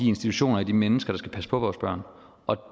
institutioner og de mennesker der skal passe på vores børn